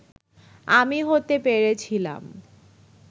আমি হতে পেরেছিলাম